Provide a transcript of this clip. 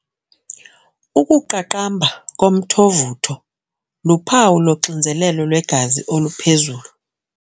Ukuqaqamba komthovutho luphawu loxinzelelo lwegazi oluphezulu.